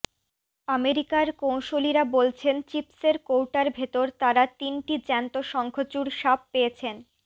আমেরিকার কৌঁসুলিরা বলছেন চিপসের কৌটার ভেতর তারা তিনটি জ্যান্ত শঙ্খচূড় সাপ পেয়েছেন